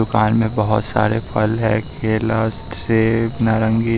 दुकान में बहोत सारे फल हैं केला सेब नारंगी।